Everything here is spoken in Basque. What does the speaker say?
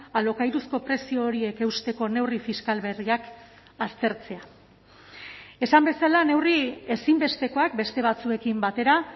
alokairuzko prezio horiek eusteko neurri fiskal berriak aztertzea esan bezala neurri ezinbestekoak beste batzuekin batera